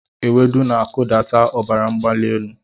Ewedu na-akụdata ọbara mgbali elu.